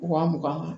Wa mugan